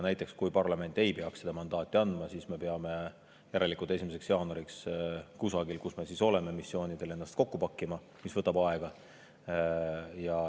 Näiteks kui parlament ei peaks seda mandaati andma, siis me peame järelikult 1. jaanuariks kusagil, kus me missioonil oleme, ennast kokku pakkima, mis võtab aega.